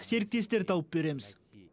серіктестер тауып береміз